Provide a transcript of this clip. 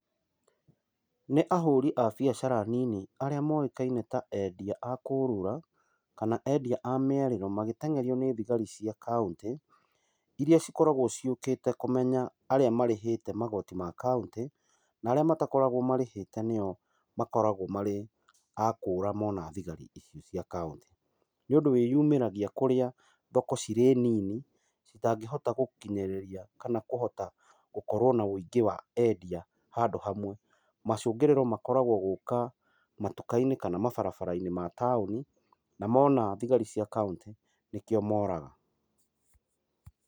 Nĩ ahũri a biacara nini arĩa moĩkaine ta endia a kũrũra, kana endia a mĩarĩro, magĩteng’erio nĩ thigari cia kauntĩ, iria cikoragwo ciũkĩte kũmenya arĩa marĩhĩte magoti ma kauntĩ, na arĩa matakoragwo marĩhĩte nĩo makoragwo marĩ a kũũra mona thigari ici cia kauntĩ. Nĩ ũndũ wĩyumĩragia kũrĩa thoko cirĩ nini, citangĩhota gũkinyĩrĩria kana kũhota gũkorwo na wũingĩ wa endia handũ hamwe, macũngĩrĩro makoragwo gũũka matuka-inĩ, kana mabarabara-inĩ ma taũni, na mona thigari cia kauntĩ nĩkĩo moraga.